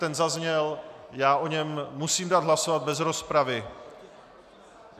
Ten zazněl, já o něm musím dát hlasovat bez rozpravy.